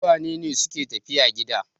Su wane ne suke tafiya gida?